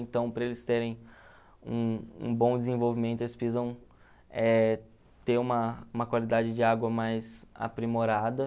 Então, para eles terem um um bom desenvolvimento, eles precisam eh ter uma uma qualidade de água mais aprimorada.